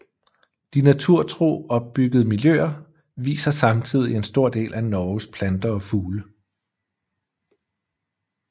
De naturtro opbyggede miljøer viser samtidig en stor del af Norges planter og fugle